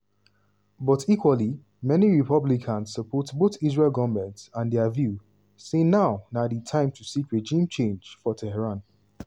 but equally many republicans support both israel goment and dia view say now na di time to seek regime change for tehran.